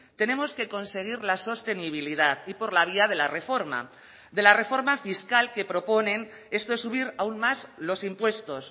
tenemos que conseguir la sostenibilidad y por la vía de la reforma de la reforma fiscal que proponen esto es subir aún más los impuestos